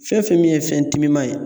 Fɛn fɛn min ye fɛn timiman ye